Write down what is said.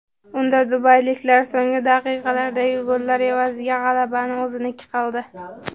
Unda dubayliklar so‘nggi daqiqalardagi gollar evaziga g‘alabani o‘ziniki qildi.